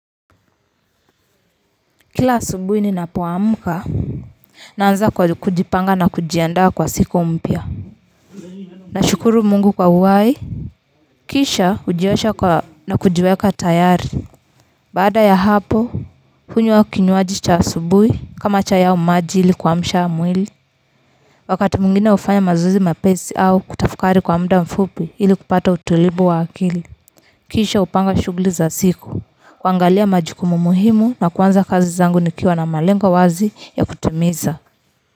Kila asubuhi ninapoamka naanza kujipanga na kujiandaa kwa siku mpya nashukuru Mungu kwa uhai kisha hujiosha na kujiweka tayari baada ya hapo hunywa kinywaji cha asubuhi kama chai au maji ili kuamsha mwili wakati mwingine hufanya mazoezi mepesi au kutafakari kwa mda mfupi ili kupata utulivu wa akili kisha hupanga shughuli za siku kuangalia majukumu muhimu na kuanza kazi zangu nikiwa na malengo wazi ya kutimiza.